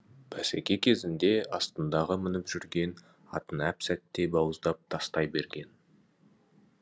бәсеке кезінде астындағы мініп жүрген атын әп сәтте бауыздап тастай берген